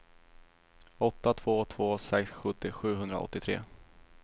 åtta två två sex sjuttio sjuhundraåttiotre